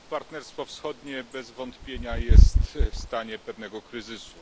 Partnerstwo Wschodnie bez wątpienia jest w stanie pewnego kryzysu.